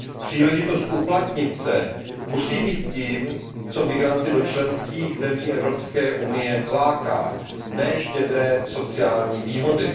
Příležitost uplatnit se musí být tím, co migranty do členských zemí Evropské unie láká, ne štědré sociální výhody.